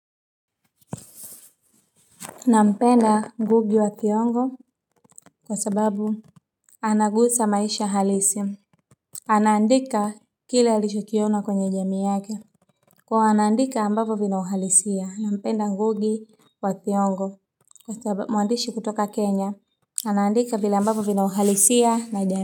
Nampenda ngugi wa thiongo kwa sababu anagusa maisha halisi. Anandika kile alicho kiona kwenye jamii yake, kwa hiyo anandika ambapo vina uhalisia. Nampenda Ngugi wa Thiongo. Ni mwandishi kutoka Kenya anandika vile ambapo vina uhalisia na jamii.